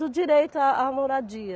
Do direito a à moradia.